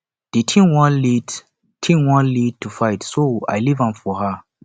the thing wan lead thing wan lead to fight so i leave am for her